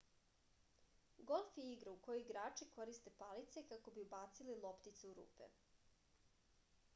golf je igra u kojoj igrači koriste palice kako bi ubacili loptice u rupe